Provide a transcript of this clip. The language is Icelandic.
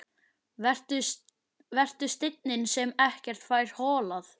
Vertu steinninn sem ekkert fær holað.